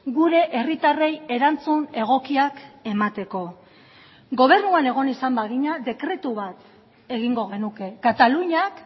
gure herritarrei erantzun egokiak emateko gobernuan egon izan bagina dekretu bat egingo genuke kataluniak